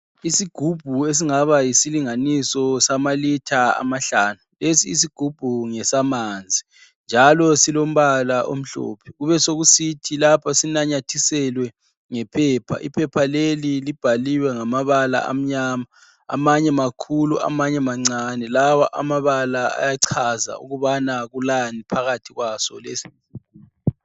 Isigubhu esingaba yisilinganiso sama litha amahlanu. Lesi isigubhu ngesamanzi njalo silombala omhlophe. Kubesokusithi lapha sinanyathiselwe ngephepha. Iphepha leli libhaliwe ngamabala amnyama. Amanye makhulu amanye mancane. Amabala la ayachaza ukubana kulani phakathi kwaso.